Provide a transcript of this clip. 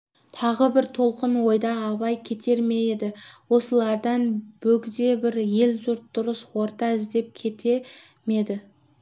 тағы бір толқын ойда абай кетер ме еді осылардан бөгде бір ел-жұрт дұрыс орта іздеп кетер ме еді